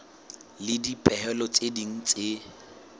le dipehelo tse ding tse